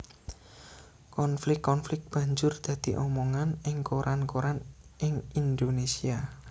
Konflik konflik banjur dadi omongan ing koran koran ing Indonésia